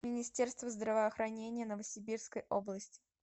министерство здравоохранения новосибирской области